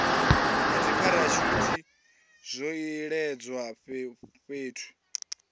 na dzipharashuthi zwo iledzwa fhethu